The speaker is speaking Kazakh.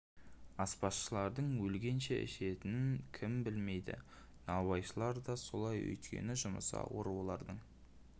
аспазшылардың өлгенше ішетінін кім білмейді наубайшылар да солай өйткені жұмысы ауыр олардың